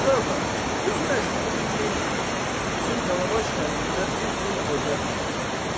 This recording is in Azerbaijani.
Qazı ağa, sözün əsli budur ki, bizim Dalabaş kəndində bir dul övrət var.